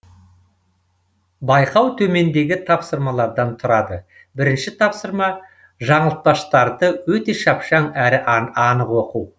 байқау төмендегі тапсырмалардан тұрады бірінші тапсырма жаңылтпаштарды өте шапшаң әрі анық айту